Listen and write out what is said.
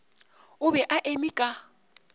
o be a eme ka